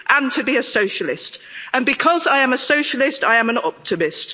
And to be a socialist, and because I am a socialist I am an optimist.